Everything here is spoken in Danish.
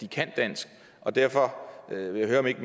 kan dansk og derfor vil jeg høre om ikke